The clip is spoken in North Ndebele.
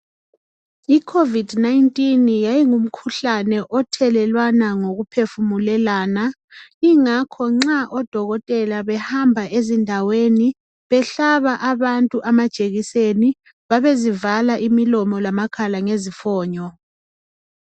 I COVID 19 yayingumkhuhlane othelelwana ngokuphefumulelana ingakho nxa odokotela behamba ezindaweni behlaba abantu amajekiseni babezivala lomlomo lamakhala ngezifonyo